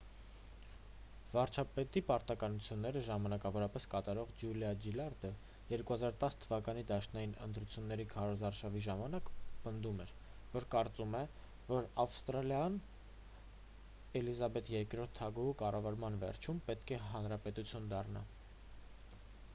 վարչապետի պարտականությունները ժամանակավորապես կատարող ջուլիա ջիլարդը 2010 թվականի դաշնային ընտրությունների քարոզարշավի ժամանակ պնդում էր որ կարծում է որ ավստրալիան էլիզաբեթ ii թագուհու կառավարման վերջում պետք է հանրապետություն դառնա